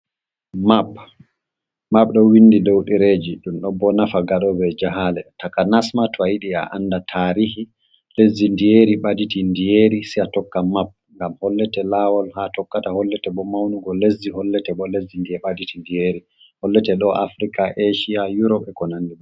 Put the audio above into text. Map do windi dow direji dum do bo nafa gadobe jahale takanasma to a yidi a anda tarihi lesdi, ndiyeri baditi ndiyeri si a tokka map ngam hollete lawol ha tokkata hollete bo maunugo lesdi hollete bo lesdi ndiye baditi ndiyeri hollete do afrika asia urope e konandiba.